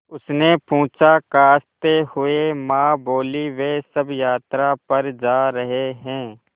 उसने पूछा खाँसते हुए माँ बोलीं वे सब यात्रा पर जा रहे हैं